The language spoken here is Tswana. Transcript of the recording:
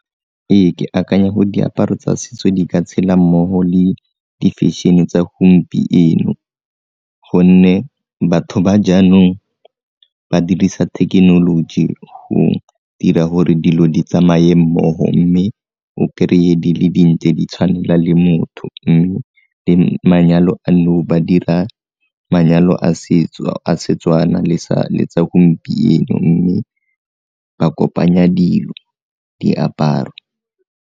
Ee, ke akanya gore diaparo tsa setso di ka tshela mmogo le difešene tsa gompieno gonne batho ba jaanong ba dirisa thekenoloji go dira gore dilo di tsamaye mmogo mme o kry-e di le dintle di tshwanela le motho le manyalo a nou ba dira manyalo a setso a Setswana letsa gompieno mme ba kopanya dilo, diaparo.